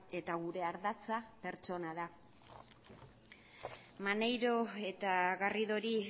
eta gure ardatza pertsona da maneiro eta garridori